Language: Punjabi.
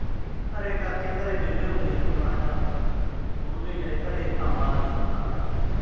ਘਰੇ ਕਰਕੇ। ਘਰੇ ਵਿਹਲੇ ਹੁੰਦੇ ਸੀਗੇ। ਮੈਂ ਕਿਹਾ ਚੱਲ ਸਕੂਲ ਨੀ ਗਏ, ਘਰੇ ਕੰਮ ਆਲਾ ਨੀ ਸੀ ਤਾਂ ਕਰਕੇ।